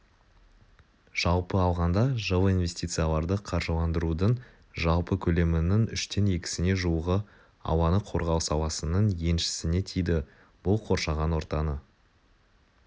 жалпы алғанда жылы инвестицияларды қаржыландырудың жалпы көлемінің үштен екісіне жуығы ауаны қорғау саласының еншісіне тиді бұл қоршаған ортаны